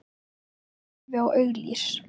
Ég horfi á auglýs